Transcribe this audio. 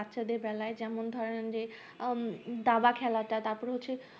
বাচ্চা দেড় বেলায় যেমন ধরেন যে উম দাবা খেলাটা তারপর হচ্ছে যে